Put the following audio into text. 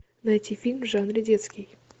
найти фильм в жанре детский